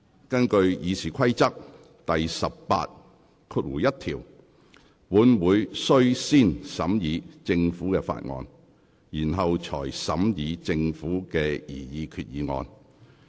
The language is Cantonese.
根據《議事規則》第181條，本會須先審議政府提交的法案，然後才審議政府提出的擬議決議案。